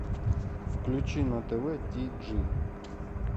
включи на тв ти джи